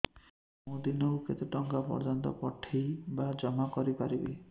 ମୁ ଦିନକୁ କେତେ ଟଙ୍କା ପର୍ଯ୍ୟନ୍ତ ପଠେଇ ବା ଜମା କରି ପାରିବି